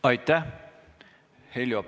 Aitäh!